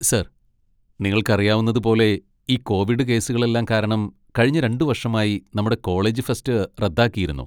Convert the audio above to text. Sir, നിങ്ങൾക്കറിയാവുന്നതുപോലെ, ഈ covid കേസുകളെല്ലാം കാരണം കഴിഞ്ഞ രണ്ട് വർഷമായി നമ്മുടെ കോളേജ് ഫെസ്റ്റ് റദ്ദാക്കിയിരുന്നു.